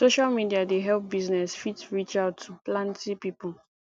social media dey help business fit reach out to planty pipo